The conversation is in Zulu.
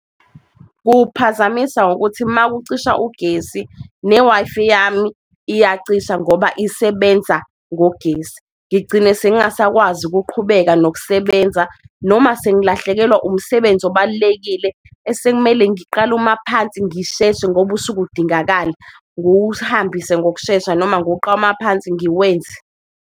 Kuwuphazamisa ngokuthi makucishwa ugesi ne-Wi-Fi yami iyacisha ngoba isebenza ngogesi, ngigcine sengasakwazi ukuqhubeka nokusebenza noma sengilahlekelwa umsebenzi obalulekile esekumele ngiqale uma phansi ngisheshe ngoba usuke udingakala. Nguwuhambise ngokushesha noma ngiwuqale phansi ngiwenze.